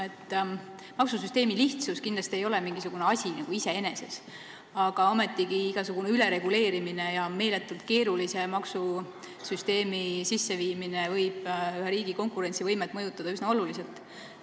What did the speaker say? Maksusüsteemi lihtsus ei ole kindlasti mingisugune asi iseeneses, aga ometigi võib igasugune ülereguleerimine ja meeletult keerulise maksusüsteemi sisseviimine riigi konkurentsivõimet üsna oluliselt mõjutada.